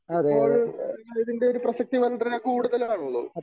ഇപ്പോൾ ഇതിൻറെ ഒരു പ്രസക്തി വളരെ കൂടുതലാണല്ലോ.